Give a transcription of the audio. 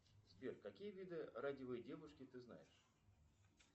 сбер какие виды радивые девушки ты знаешь